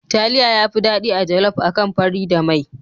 Taliya yafi daɗi a jaluf akan fari da mai.